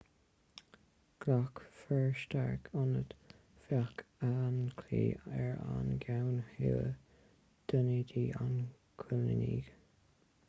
ghlac fir stark ionaid feadh an chlaí ar an gceann thuaidh d'ionad an choilínigh